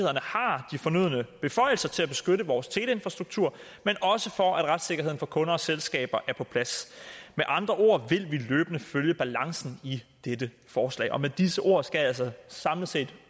fornødne beføjelser til at beskytte vores teleinfrastruktur men også for at retssikkerheden for kunder og selskaber er på plads med andre ord vil vi løbende følge balancen i dette forslag med disse ord skal jeg altså samlet set